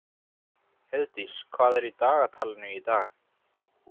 Heiðdís, hvað er í dagatalinu í dag?